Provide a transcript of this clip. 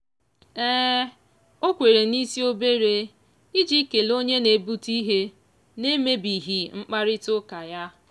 o kwere n'isi obere iji kelee onye na-ebute ihe na-emebighị mkparịtaụka ya.